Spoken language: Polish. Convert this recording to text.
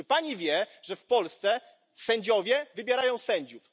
Czy Pani wie, że w Polsce sędziowie wybierają sędziów?